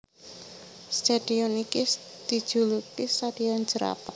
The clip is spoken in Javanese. Stadion iki dijuluki Stadion Jerapah